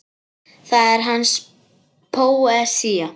Það er hans póesía.